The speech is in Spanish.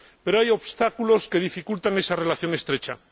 Pero hay obstáculos que dificultan esa relación estrecha.